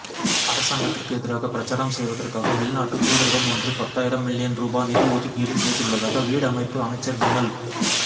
அரசாங்கத்திற்கு எதிராக பிரசாரம் செய்வதற்காக வெளிநாட்டு தூதரகமொன்று பத்தாயிரம் மில்லியன் ரூபா நிதி ஒதுக்கீடு செய்துள்ளதாக வீடமைப்பு அமைச்சர் விமல்